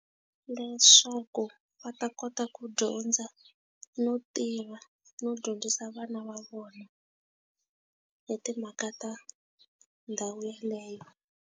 Leswaku va ta kota ku dyondza, no tiva, no dyondzisa vana va vona hi timhaka ta ndhawu yeleyo.